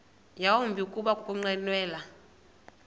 yawumbi kuba ukunqwenela